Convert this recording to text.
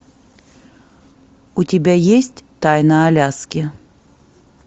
у тебя есть тайна аляски